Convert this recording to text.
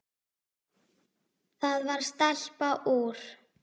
Það var stelpa úr